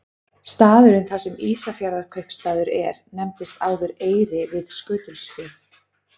Staðurinn þar sem Ísafjarðarkaupstaður er nefndist áður Eyri við Skutulsfjörð.